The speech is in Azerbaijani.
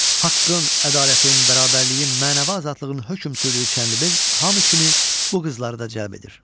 Haqqın, ədalətin, bərabərliyin, mənəvi azadlığın hökm sürdüyü Çənlibel hamı kimi bu qızları da cəlb edir.